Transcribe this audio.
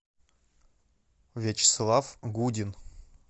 вячеслав гудин